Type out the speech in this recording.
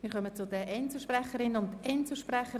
Wir kommen zu den Einzelsprecherinnen und Einzelsprechern.